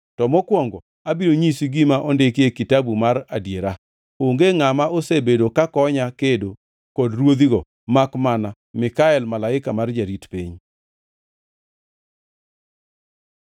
to mokwongo, abiro nyisi gima ondiki e Kitabu mar Adiera. (Onge ngʼama osebedo ka konya kedo kod ruodhigo makmana Mikael malaika ma jarit piny.